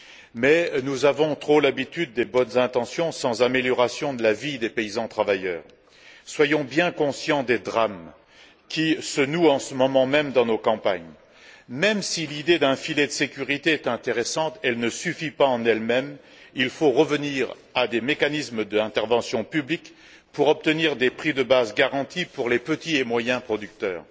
Mais nous avons connu trop de bonnes intentions sans que la vie des paysans travailleurs s'en trouve améliorée. Soyons bien conscients des drames qui se nouent en ce moment même dans nos campagnes. Même si l'idée d'un filet de sécurité est intéressante, elle ne suffit pas en elle même, il faut revenir à des mécanismes d'intervention publique pour obtenir des prix de base garantis pour les petits et moyens producteurs.